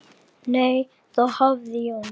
Nei, þá hafði Jón